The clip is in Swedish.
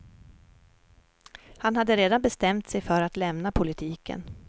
Han hade redan bestämt sig för att lämna politiken.